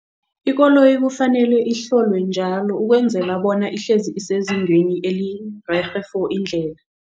Ikoloyi kufanele ihlolwe njalo ukwenzela bona ihlezi isezingeni elirerhe for indlela.